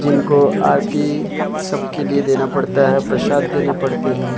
जिनको आरती सबके लिए देना पड़ता है प्रसाद देने पड़ते हैं।